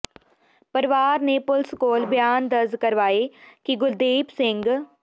ਪਰਿਵਾਰ ਨੇ ਪੁਲਿਸ ਕੋਲ ਬਿਆਨ ਦਰਜ ਕਰਵਾਏ ਕਿ ਗੁਰਦੀਪ ਸਿੰ